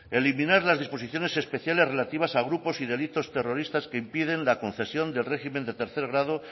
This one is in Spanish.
eliminar las disposiciones especiales relativas a grupos y delitos terroristas que impiden la concesión del régimen del tercer grado